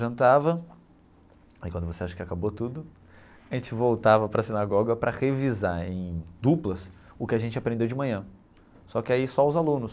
Jantava, aí quando você acha que acabou tudo, a gente voltava para a sinagoga para revisar em duplas o que a gente aprendeu de manhã, só que aí só os alunos.